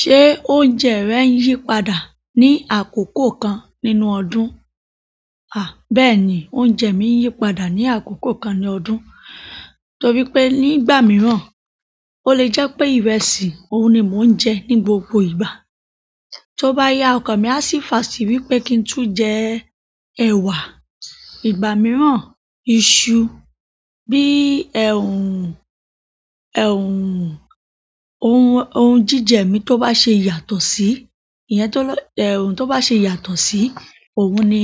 Ṣé oúnjẹ rẹ yí padà ní àkókò kan nínú ọdún? À, bẹ́ẹ̀ni, oúnjẹ mi n yí padà ní àkókò kan ní ọdún. Nítorí pé nígbà mìíràn, ó lè jẹ́ pé ìrẹsì, òun ni mò ń jẹ ní gbogbo ìgbà. Tó bá yá ọkàn mi a sì fà sì wí pé kí n tún jẹ ẹ̀wà. Ìgbà mìíràn iṣu. Bí i ẹ̀hun, ẹ̀hun, ohun, ohun jíjẹ mi tó bá ṣe yàtọ̀ sí, ìyẹn tó lọ-- ẹ̀hun tó bá ṣe yàtọ̀ sí, òun ni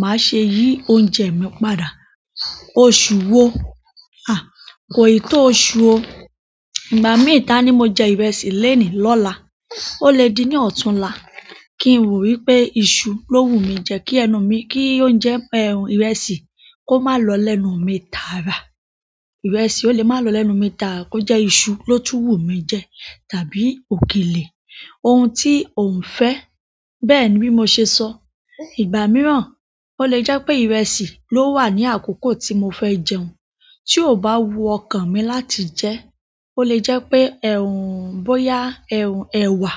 màá ṣe yí oúnjẹ mi padà. Oṣù wo? À, kò ì tó oṣù o. Ìgbà mí ìta ni mo jẹ ìrẹsì lénìí lọ́la. Ó lè di ní ọ̀túnla kí n wò wí pé iṣu ló wù mí jẹ kí ẹnu mi, kí oúnjẹ ẹ̀hun ìrẹsì kó má lọ lẹ́nu mi taára. Ìrẹsì ò lè má lọ lẹ́nu mi taára, kó jẹ́ iṣu ló tú wù mí jẹ tàbí òkèlè. Ohun tí ò ń fẹ́. Bẹ́ẹ̀ ni bí mo ṣe sọ. Ìgbà mìíràn ó lè jẹ́ pé ìrẹsì ló wà ní àkókò tí mo fẹ́ jẹun. Tí ó bá wu ọkàn mi láti jẹ, ó lè jẹ́ pé ẹ̀hun, bóyá ẹ̀hun ẹwà,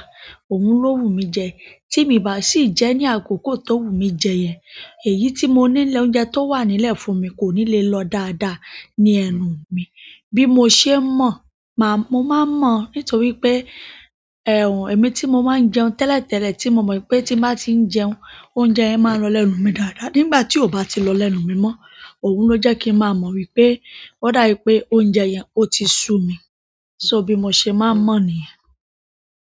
òun ló wù mí jẹ. Tí mi bá sì jẹ́ ní àkókò tó wù mí jẹ yẹn, èyí tí mo nílé oúnjẹ tó wà nílẹ̀ fún mi kò ní lè lọ dáadáa ní ẹnu mi. Bí mo ṣe ń mọ̀, màá-- mo máa ń mọ̀ nítorí pé ẹ̀hun, èmi tí mo máa ń jẹun tẹ́lẹ̀tẹ́lẹ̀ tí mo mọ̀ pé tí bá ti ń jẹun, oúnjẹ yẹn máa ń lọ lẹ́nu mi dáadáa. Nígbà tí ó bá ti lọ lẹ́nu mi mọ́, òun ló jẹ́ kí n máa mọ̀ wí pé ó dábi pé oúnjẹ yẹn ó ti sú mi. So bí mo ṣe máa ń mọ̀ níyẹn.